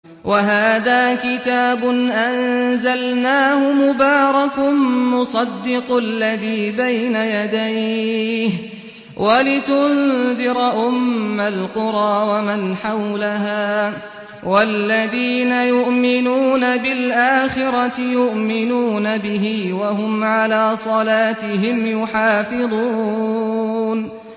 وَهَٰذَا كِتَابٌ أَنزَلْنَاهُ مُبَارَكٌ مُّصَدِّقُ الَّذِي بَيْنَ يَدَيْهِ وَلِتُنذِرَ أُمَّ الْقُرَىٰ وَمَنْ حَوْلَهَا ۚ وَالَّذِينَ يُؤْمِنُونَ بِالْآخِرَةِ يُؤْمِنُونَ بِهِ ۖ وَهُمْ عَلَىٰ صَلَاتِهِمْ يُحَافِظُونَ